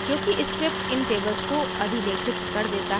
क्योंकि script इन tables को अधिलेखित कर देता है